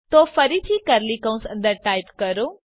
તો ફરીથી કર્લી કૌંસ અંદર ટાઇપ કરો